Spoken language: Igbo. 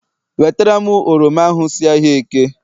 Wetara m oroma ahụ si ahịa eke!